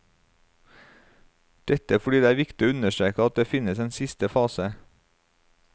Dette fordi det er viktig å understreke at det finnes en siste fase.